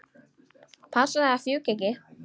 Passaðu að fjúka ekki.